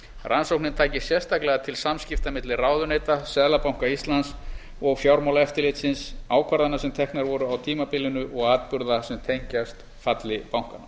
rannsóknin taki sérstaklega til samskipta milli ráðuneyta seðlabanka íslands og fjármálaeftirlitsins ákvarðana sem teknar voru á tímabilinu og atburða sem tengjast falli bankanna